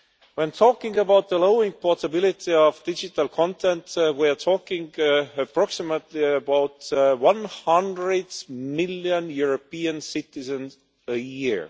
When talking about the low portability of digital content, we are talking approximately about 100 million European citizens a year.